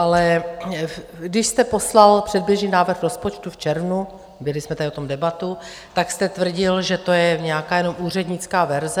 Ale když jste poslal předběžný návrh rozpočtu v červnu, vedli jsme tady o tom debatu, tak jste tvrdil, že to je nějaká jenom úřednická verze.